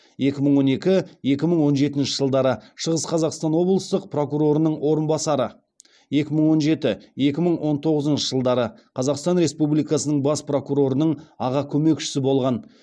екі мың он екі екі мың он жетінші жылдары шығыс қазақстан облыстық прокурорының орынбасары екі мың он жеті екі мың он тоғызыншы жылдары қазақстан республикасы бас прокурорының аға көмекшісі болған